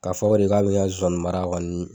K'a fɔ de k'a bi ka zonsanninmara kɔni.